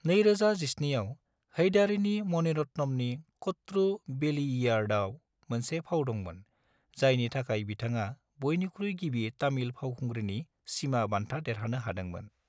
2017 आव हैदारीनि मणिरत्नमनि कटरू वेलियिडाईआव मोनसे फाव दंमोन, जायनि थाखाय बिथाङा बयनिख्रुइ गिबि तामिल फावखुंग्रिनि सीमा बान्था देरहानो हादोंमोन।